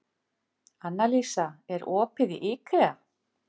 Annalísa, er opið í IKEA?